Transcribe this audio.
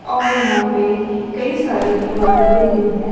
और यहां पे कई सारी इमारतें भी हैं।